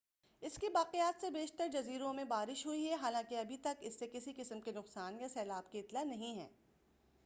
اس کی باقیات سے بیشتر جزیروں میں بارش ہوئی ہے حالانکہ ابھی تک اس سے کسی قسم کے نقصان یا سیلاب کی اطلاع نہیں ہے